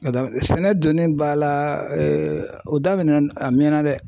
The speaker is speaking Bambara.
sɛnɛ donni ba la o daminɛn na a mɛnna dɛ.